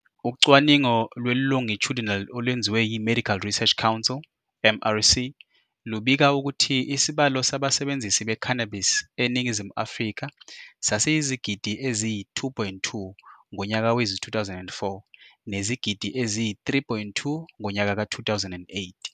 Ucwaningo lweLongitudinal olwenziwe yiMedical Research Council, MRC. lubika ukuthi isibalo sabasebenzisi be-cannabis eNingizimu Afrika sasiyizigidi eziyi-2,2 ngonyaka wezi-2004, nezigidi eziyi-3,2 ngonyaka ka-2008.